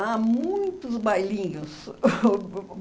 Ah muitos bailinhos